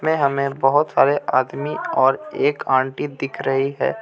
में हमें बहुत सारे आदमी और एक आंटी दिख रही है.